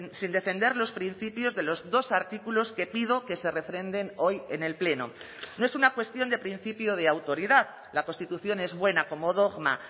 sin defender los principios de los dos artículos que pido que se refrenden hoy en el pleno no es una cuestión de principio de autoridad la constitución es buena como dogma